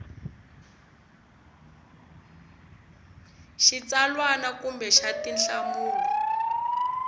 xa xitsalwana kumbe xa tinhlamulo